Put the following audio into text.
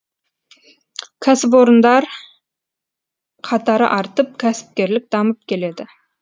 кәсіпорындар қатары артып кәсіпкерлік дамып келеді